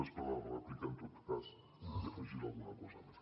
després a la rèplica en tot cas hi afegiré alguna cosa més